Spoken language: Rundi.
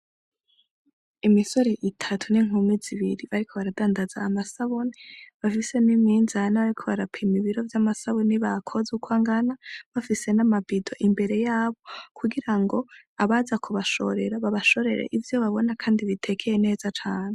Imisore itatu n'inkumi zibiri bariko baradandaza amasabuni bafise n'imizane bariko barapima ibiro vy'amasabuni bakoze uko angana bafise nama bido imbere yabo kugira ngo abaza kubashorera babashorere ivyo babona kandi bitekeye neza cane.